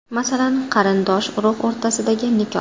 Masalan, qarindosh-urug‘ o‘rtasidagi nikoh.